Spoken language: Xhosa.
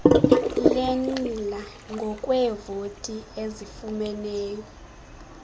lenqila ngokweevoti ezifumeneyo